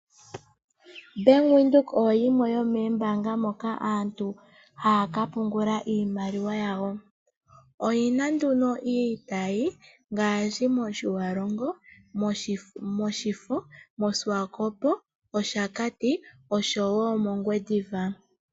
Bank windhoek oyo yimwe yoomombanga moka aantu haya kapungula iimaliwa yawo, oyi na nduno iitayi ngashi mOtjiwarongo, mOshifo, mOswakop, mOshakati, oshowo mOngwediva.